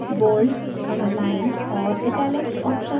bold underline और italic options